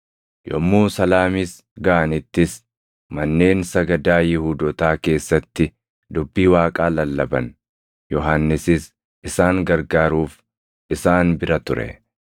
Yommuu Salaamiis gaʼanittis manneen sagadaa Yihuudootaa keessatti dubbii Waaqaa lallaban; Yohannisis isaan gargaaruuf isaan bira ture.